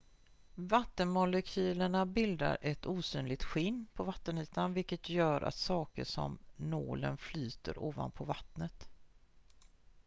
"vattenmolekylerna bildar ett osynligt "skinn" på vattenytan vilket gör att saker som nålen flyter ovanpå vattnet.